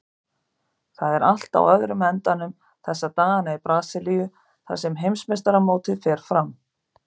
Það er allt á öðrum endanum þessa dagana í Brasilíu þar sem heimsmeistaramótið fer fram.